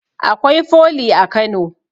Akwai foli a kano